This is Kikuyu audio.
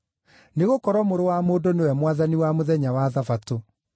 Nĩgũkorwo Mũrũ wa Mũndũ nĩwe Mwathani wa mũthenya wa Thabatũ.”